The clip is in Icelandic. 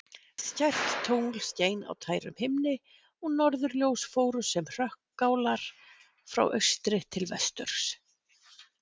Skært tungl skein á tærum himni og norðurljós fóru sem hrökkálar frá austri til vesturs.